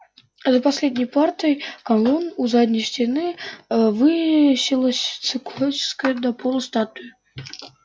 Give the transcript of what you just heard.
за последней парой колонн у задней стены высилась циклопическая до потолка статуя